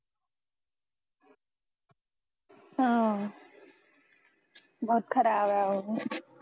ਹਾਂ ਬਹੁਤ ਖਰਾਬ ਐ ਉਹ